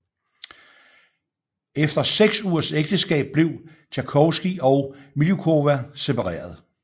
Efter seks ugers ægteskab blev Tjajkovskij og Miljukova separeret